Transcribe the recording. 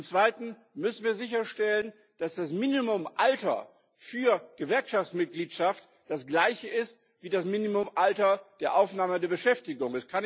Zum Zweiten müssen wir sicherstellen, dass das Mindestalter für Gewerkschaftsmitgliedschaft das gleiche ist wie das Mindestalter für die Aufnahme der Beschäftigung.